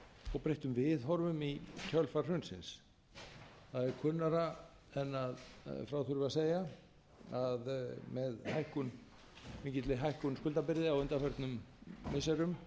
og breyttum viðhorfum í kjölfar hrunsins það er kunnara en frá þurfi að segja að með mikilli hækkun skuldabyrði á undanförnum missirum